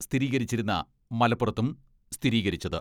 സ്ഥിരീകരിച്ചിരുന്ന മലപ്പുറത്തും സ്ഥിരീകരിച്ചത്.